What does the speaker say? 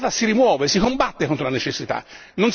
La necessità si rimuove, si combatte contro la necessità.